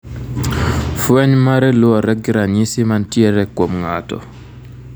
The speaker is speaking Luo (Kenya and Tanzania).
Fweny mare luwore gi ranyisi mantiere kuom ng'ato .